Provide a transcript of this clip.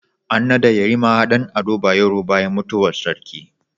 An nada yarima Dan ado bayero bayan mutuwar sarki